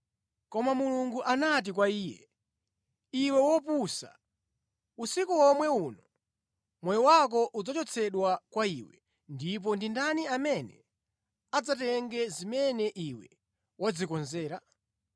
“Koma Mulungu anati kwa iye, ‘Iwe wopusa! Usiku womwe uno moyo wako udzachotsedwa kwa iwe, ndipo ndi ndani amene adzatenge zimene iwe wadzikonzera?’